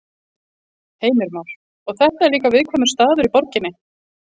Heimir Már: Og þetta er líka viðkvæmur staður í borginni?